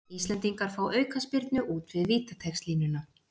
Íslendingar fá aukaspyrnu út við vítateigslínuna